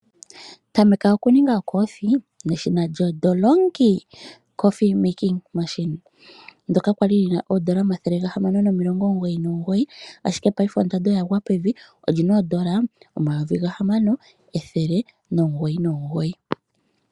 Tameka oku ninga okoofi neshina lyo Delonghi. Ndyoka kwali lina oodola omayovi gahamano ethele limwe nomilongo omugoyi nomugoyi. Ashike paife ondando oya gwa pevi olina oodola omayovi gahamano ethele nomugoyi nomugoyi.